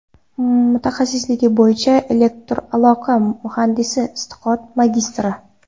Mutaxassisligi bo‘yicha elektraloqa muhandisi, iqtisod magistri.